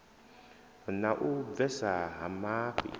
na u bvesa ha mafhi